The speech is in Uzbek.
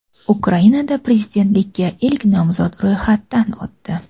Ukrainada prezidentlikka ilk nomzod ro‘yxatdan o‘tdi.